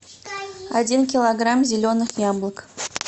один килограмм зеленых яблок